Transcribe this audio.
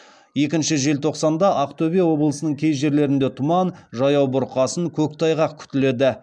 екінші желтоқсанда ақтөбе облысының кей жерлерінде тұман жаяу бұрқасын көктайғақ күтіледі